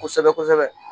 Kosɛbɛ kosɛbɛ